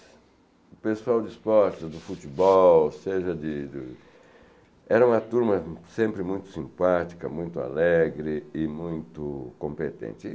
O pessoal de esportes, do futebol, ou seja de de, era uma turma sempre muito simpática, muito alegre e muito competente.